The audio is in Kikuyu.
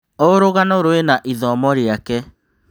O rũgano rwĩna ithomo rĩake.